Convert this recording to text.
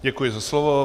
Děkuji za slovo.